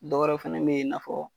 Dɔ wɛrɛ fɛnɛ be ye i n'a fɔ